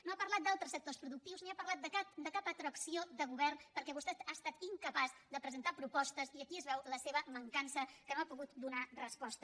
no ha parlat d’altres sectors productius ni ha parlat de cap altra opció de govern perquè vostè ha estat incapaç de presentar propostes i aquí es veu la seva mancança que no ha pogut donar resposta